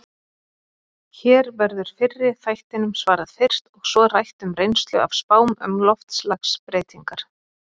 Hér verður fyrri þættinum svarað fyrst, og svo rætt um reynslu af spám um loftslagsbreytingar.